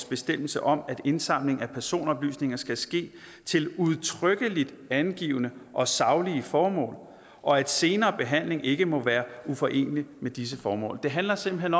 bestemmelse om at indsamling af personoplysninger skal ske til udtrykkeligt angivne og saglige formål og at senere behandling ikke må være uforenelig med disse formål det handler simpelt